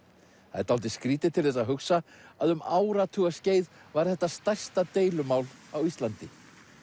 það er dálítið skrýtið til þess að hugsa að um áratugaskeið var þetta stærsta deilumál á Íslandi